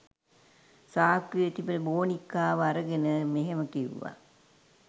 සාක්කුවේ තිබුණ බෝනික්කාව අරගෙන මෙහෙම කිව්වා.